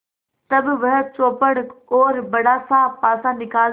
तब वह चौपड़ और बड़ासा पासा निकालती है